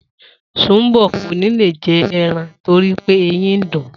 Sùnḿbò̩ kò ní lè je̩ e̩ran torí pé eyín ń dùn-ún